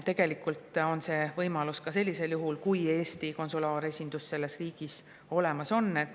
Tegelikult on see võimalus ka sellisel juhul, kui Eesti konsulaaresindus selles riigis olemas on.